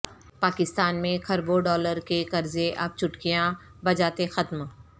پاکستان میں کھربوں ڈالر کے قرضے اب چٹکیاں بجاتے ختم